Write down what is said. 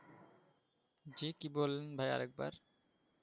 জ্বি কি বললেন ভাইয়া আরেকবার